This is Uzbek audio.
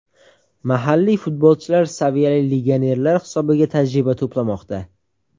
Mahalliy futbolchilar saviyali legionerlar hisobiga tajriba to‘plamoqda.